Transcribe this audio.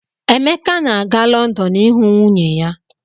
Emeka na-aga Lọndọn ịhụ nwunye ya.